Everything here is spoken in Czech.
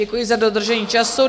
Děkuji za dodržení času.